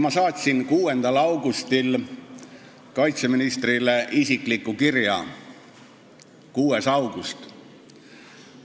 Ma saatsin 6. augustil kaitseministrile isikliku kirja – 6. augustil!